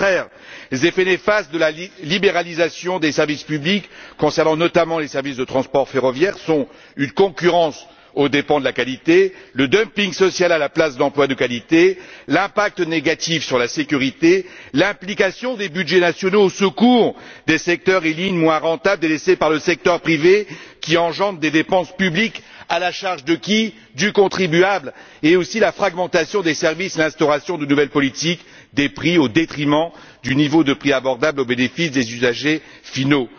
Au contraire, les effets néfastes de la libéralisation des services publics concernant notamment les services de transport ferroviaire sont les suivants une concurrence aux dépens de la qualité, le dumping social à la place d'emplois de qualité, l'impact négatif sur la sécurité, l'implication des budgets nationaux au secours des secteurs et lignes moins rentables délaissés par le secteur privé, qui engendre des dépenses publiques à la charge, bien évidemment, du contribuable, tout comme la fragmentation des services et l'instauration de nouvelles politiques des prix au détriment d'un niveau de prix abordable au bénéfice des usagers finaux.